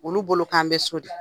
Olu bolo k'an be so de.